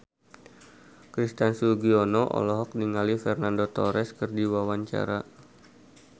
Christian Sugiono olohok ningali Fernando Torres keur diwawancara